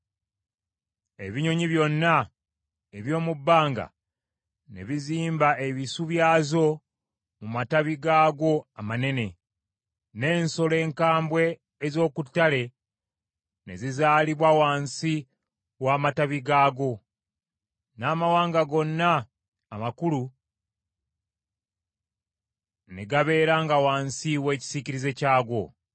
Ebinyonyi byonna eby’omu bbanga ne bizimba ebisu byazo mu matabi gaagwo amanene, n’ensolo enkambwe ez’oku ttale ne zizaaliranga wansi w’amatabi gaagwo, n’amawanga gonna amakulu ne gabeeranga wansi w’ekisiikirize kyagwo.